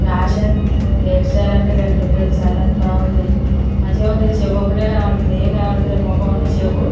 Fashion hair style అంటే గట్ల ఉంటది. చాలా బాగుంది మంచిగుంది చెవు ఒకటే కనపడుతుంది. ఎం కనబటలేదు మొకం అను చెవు --